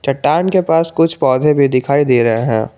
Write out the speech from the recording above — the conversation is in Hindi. चट्टान के पास कुछ पौधे भी दिखाई दे रहे हैं।